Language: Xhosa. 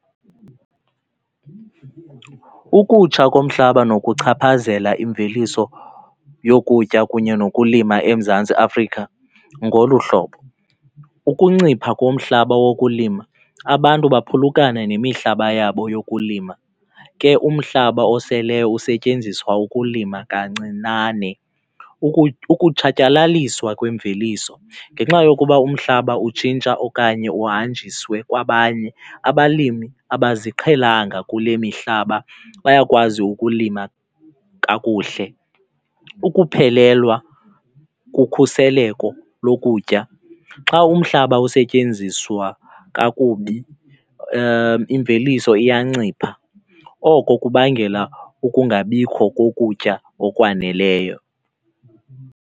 Ukutsha komhlaba nokuchaphazela imveliso yokutya kunye nokulima eMzantsi Afrika ngolu hlobo. Ukuncipha komhlaba wokulima, abantu baphulukana nemihlaba yabo yokulima, ke umhlaba osele usetyenziswa ukulima kancinane. Ukutshatyalaliswa kwemveliso ngenxa yokuba umhlaba utshintsha okanye uhanjiswe kwabanye, abalimi abaziqhelanga kule mihlaba bayakwazi ukulima kakuhle. Ukuphelelwa kokhuseleko lokutya, xa umhlaba usetyenziswa kakubi imveliso iyancipha oko kubangela ukungabikho kokutya okwaneleyo.